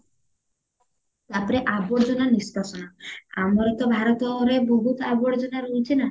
ତାପରେ ଆବର୍ଜନା ନିଷ୍କାସନ ଆମର ତ ଭାରତରେ ବହୁତ ଆବର୍ଜନା ରହୁଚି ନାଁ